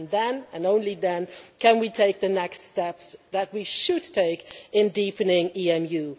Then, and only then, can we take the next step that we should take in deepening EMU.